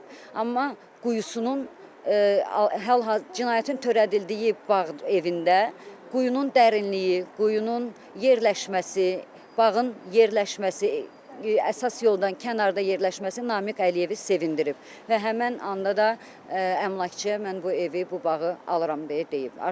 Amma quyusunun cinayətin törədildiyi bağ evində quyunun dərinliyi, quyunun yerləşməsi, bağın yerləşməsi, əsas yoldan kənarda yerləşməsi Namiq Əliyevi sevindirib və həmin anda da əmlakçıya mən bu evi, bu bağı alıram deyə deyib.